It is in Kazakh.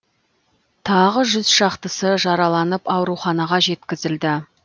тағы жүз шақтысы жараланып ауруханаға жеткізілді